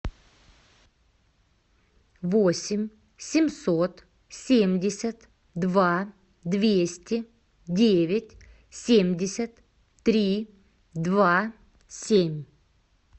восемь семьсот семьдесят два двести девять семьдесят три два семь